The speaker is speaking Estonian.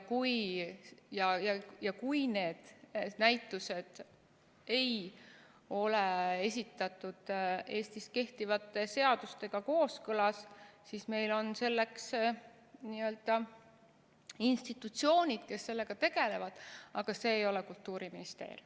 Ja kui need näitused ei ole Eestis kehtivate seadustega kooskõlas, siis meil on selleks institutsioonid, kes sellega tegelevad, aga see ei ole Kultuuriministeerium.